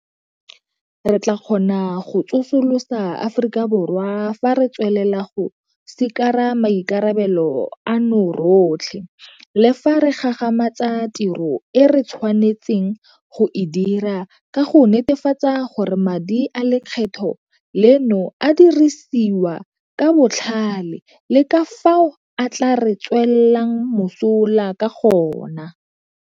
Re tla kgona go tsosolosa Aforika Borwa fa re tswelela go sikara maikarabelo ano rotlhe, le fa re gagamatsa tiro e re tshwanetseng go e dira ka go netefatsa gore madi a lekgetho leno a dirisiwa ka botlhale le ka fao a tla re tswelang mosola ka gona.